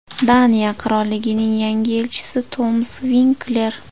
Daniya Qirolligining yangi elchisi Tomas Vinkler.